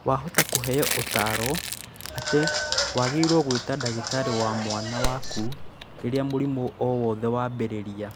Wahota kũheo ũtaaro atĩ wagĩrĩirũo gwĩta ndagĩtarĩ wa mwana waku rĩrĩa mũrimũ o wothe wambĩrĩria.